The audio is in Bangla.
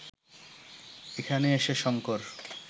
এখানে এসে শঙ্কর